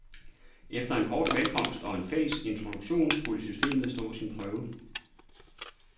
Efter en kort velkomst og en fælles introduktion skulle systemet stå sin prøve.